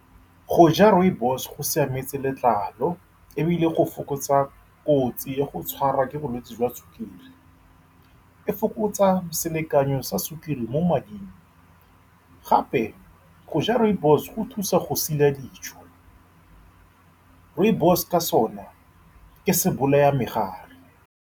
Go ja rooibos-e go siametse letlalo, ebile go fokotsa kotsi ya go tshwarwa ke bolwetse jwa sukiri. E fokotsa selekanyo sa sukiri mo mading, gape, go ja rooibos-e go thusa go sila dijo. Rooibos-e ka sone ke se bolaya megare.